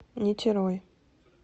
нитерой